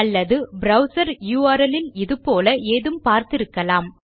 அல்லது browser URL இல் இது போல ஏதும் பார்த்திருக்கலாம்